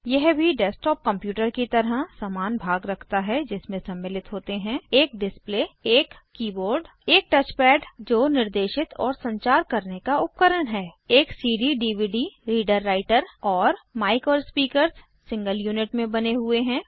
यह भी desktop computer की तरह समान भाग रखता है जिसमे सम्मिलित होते हैं एक डिस्प्ले एक कीबोर्ड एक टच पैड जो निर्देशित और संचार करने का उपकरण है एक cdडीवीडी रीडर राइटर और मिक और स्पीकर्स सिंगल यूनिट में बने हुए हैं